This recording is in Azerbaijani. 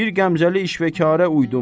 Bir qəmzəli işvəkarə uydum.